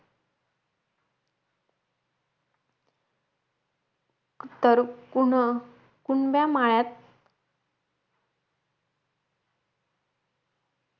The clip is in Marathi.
तर कुन्ह हुंड्यामाळ्यात